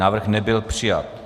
Návrh nebyl přijat.